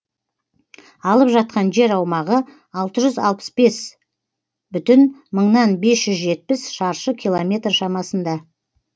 алып жатқан жер аумағы алты жүз алпыс бес бүтін мыңнан бесжүз жетпіс шаршы километр шамасында